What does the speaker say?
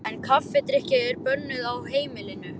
En kaffidrykkja er bönnuð á heimilinu.